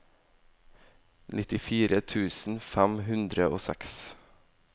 nittifire tusen fem hundre og seks